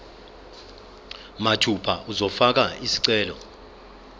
mathupha uzofaka isicelo